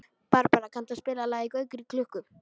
Barbara, kanntu að spila lagið „Gaukur í klukku“?